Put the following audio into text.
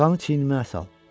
Yorğanı çiynimə sal.